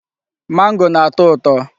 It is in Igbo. Mango na-atọ ụtọ.